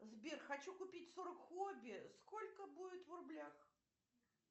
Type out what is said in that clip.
сбер хочу купить сорок хобби сколько будет в рублях